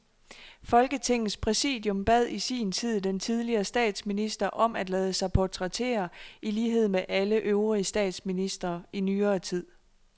Folketingets præsidium bad i sin tid den tidligere statsminister om at lade sig portrættere i lighed med alle øvrige statsministre i nyere tid.